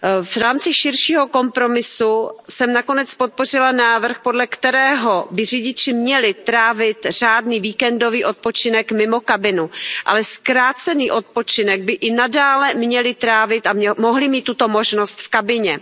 V rámci širšího kompromisu jsem nakonec podpořila návrh, podle kterého by řidiči měli trávit řádný víkendový odpočinek mimo kabinu, ale zkrácený odpočinek by i nadále měli trávit a mohli mít tuto možnost v kabině.